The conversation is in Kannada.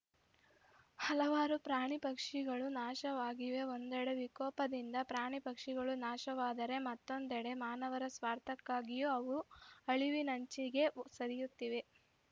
ಹಲವಾರು ಪ್ರಾಣಿ ಪಕ್ಷಿಗಳು ನಾಶವಾಗಿವೆ ಒಂದೆಡೆ ವಿಕೋಪದಿಂದ ಪ್ರಾಣಿ ಪಕ್ಷಿಗಳು ನಾಶವಾದರೆ ಮತ್ತೊಂದೆಡೆ ಮಾನವರ ಸ್ವಾರ್ಥಕ್ಕಾಗಿಯೂ ಅವು ಅಳಿವಿನಂಚಿಗೆ ಸರಿಯುತ್ತಿವೆ